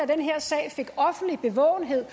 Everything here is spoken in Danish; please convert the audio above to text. den her sag fik offentlig bevågenhed